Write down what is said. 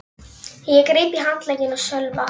Ég greip í handlegginn á Sölva.